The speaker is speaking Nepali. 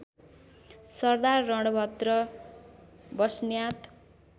सरदार रणभद्र बस्न्यात